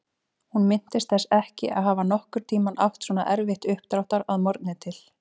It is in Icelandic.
Hún minntist þess ekki að hafa nokkurn tímann átt svona erfitt uppdráttar að morgni til.